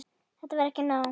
Þetta var ekki nóg.